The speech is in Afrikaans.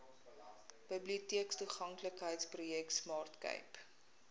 biblioteektoeganklikheidsprojek smart cape